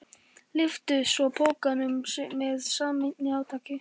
Lyftu svo pokanum með sameiginlegu átaki.